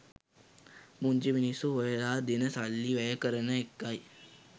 පුංචි මිනිස්‌සු හොයලා දෙන සල්ලි වැය කරන එකයි.